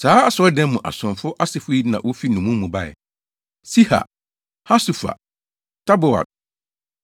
Saa asɔredan mu asomfo asefo yi na wofi nnommum mu bae: 1 Siha, Hasufa, Tabaot, 1